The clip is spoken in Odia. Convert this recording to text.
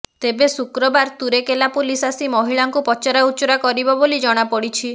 ତେବେ ଶୁକ୍ରବାର ତୁରେକେଲା ପୁଲିସ ଆସି ମହିଳାଙ୍କୁ ପଚରା ଉଚୁରା କରିବ ବୋଲି ଜଣାପଡିଛି